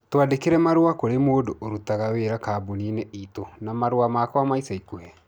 Twandĩkĩre marũa kũrĩ mũndũ ũrutaga wĩra kambuni-inĩ itũ na marũa makwa ma ica ikuhĩ